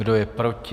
Kdo je proti?